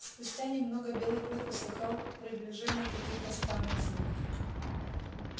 спустя немного белый клык услыхал приближение каких то странных звуков